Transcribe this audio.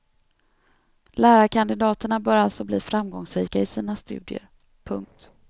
Lärarkandidaterna bör alltså bli framgångsrika i sina studier. punkt